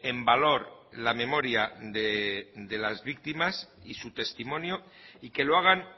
en valor la memoria de las víctimas y su testimonio y que lo hagan